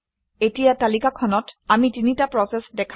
এতিয়া তালিকাখনত আমি তিনিটা প্ৰচেচ দেখা পাম